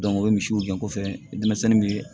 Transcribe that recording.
o ye misiw gɛn ko fɛn ye denmisɛnnin bɛ